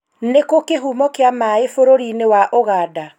nĩ kũũ kĩhumo kĩa maĩ bũrũri-inĩ wa Ũganda?